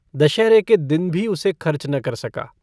दशहरे के दिन भी उसे खर्च न कर सका।